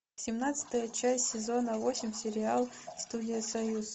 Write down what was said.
семнадцатая часть сезона восемь сериал студия союз